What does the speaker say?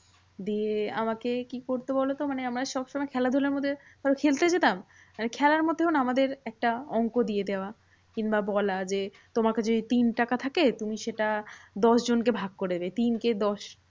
দিয়ে আমাকে কি করতো বলতো? মানে আমরা সবসময় খেলাধুলোর মধ্যে, হয়তো খেলতে যেতাম মানে খেলার মধ্যেও না আমাদের একটা অঙ্ক দিয়ে দেওয়া। কিংবা বলা যে, তোমার কাছে যদি তিন টাকা থাকে, তুমি সেটা দশজনকে ভাগ করে দেবে। তিন কে দশ